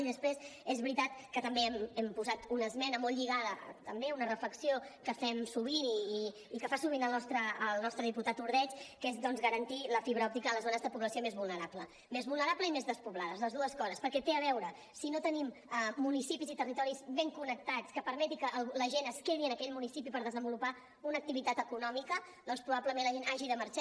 i després és veritat que també hem posat una esmena molt lligada també a una reflexió que fem sovint i que fa sovint el nostre diputat ordeig que és garantir la fibra òptica a les zones de població més vulnerable més vulnerable i més despoblada les dues coses perquè té a veure si no tenim municipis i territoris ben connectats que permetin que la gent es quedi en aquell municipi per desenvolupar una activitat econòmica doncs probablement la gent hagi de marxar